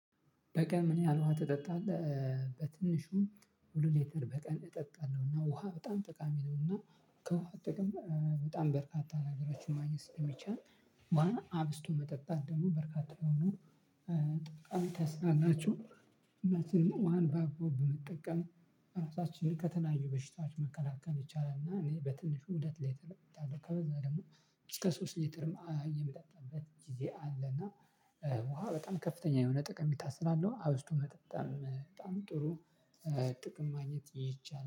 በቀን ምን ያህል ውሃ ትጠጣለህ? በትንሹም ሁሉሌተር በቀን እጠጣለሁና ውሃ በጣም ጠቃሚ ነውና። ከውሃ ጥቅም በጣም በርካታ ነገሮችን ማግኘት ስለሚቻል። ውሃን አብዝቶ መጠጣት ደግሞ በርካታ የሆኑ በጣም ታስላላችሁ። ሁላችንም ውሃን በአግባቡ ብንጠቀም ራሳችንን ከተለያዩ በሽታዎች መከላከል ይቻላል። እና እኔ በትንሹ ሁለት ሊትር እጠጣለሁ። ከበዛ ደግሞ እስከ ሶስት ሊትርም የምጠጣበት ጊዜ አለ። እና ውሃ በጣም ከፍተኛ የሆነ ጥቀሜታ ስላለሁ አብዝቶ መጠጣት በጣም ጥሩ። ጥቅም ማግኘት ይቻላል